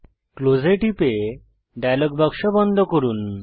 close এ টিপে dialogue box বন্ধ করুন